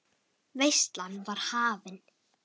Veislan var hafin.